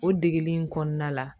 O degeli in kɔnɔna la